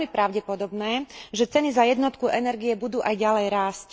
Je veľmi pravdepodobné, že ceny za jednotku energie budú aj ďalej rásť.